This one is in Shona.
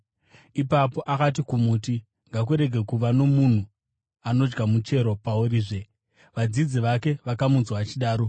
Ipapo akati kumuti, “Ngakurege kuva nomunhu anodya muchero paurizve.” Vadzidzi vake vakamunzwa achidaro.